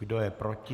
Kdo je proti?